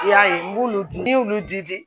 I y'a ye n b'olu di n y'olu di